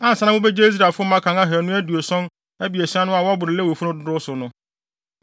Ansa na mubegye Israelfo mmakan ahannu aduɔson abiɛsa no a wɔboro Lewifo no dodow so no,